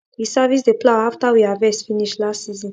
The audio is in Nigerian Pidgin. we service the plough after we harvest finish last season